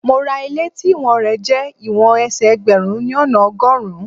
Mo ra ilé tí ìwọ̀n rẹ jẹ́ ìwọ̀n ẹsẹ̀ ẹgbẹ̀rún ni ona ọgọ́rùn-ún.